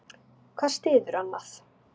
Hvað styður annað.